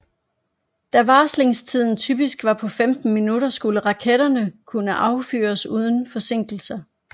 Da varslingstiden typisk var på 15 minutter skulle raketterne kunne affyres uden forsinkelser